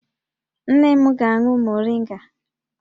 Nne m ga-aṅụ moringa